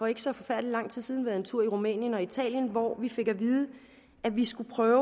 ikke så forfærdelig lang tid siden været en tur i rumænien og i italien hvor vi fik at vide at vi skulle prøve